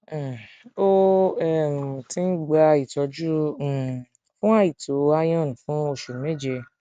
um o um ti ń gba ìtọjú um fún àìtó iron fún oṣù méje